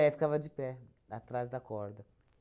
É, ficava de pé, atrás da corda.